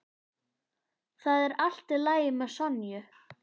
Það er allt í lagi með Sonju.